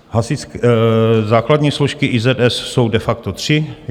Základní složky IZS jsou de facto tři.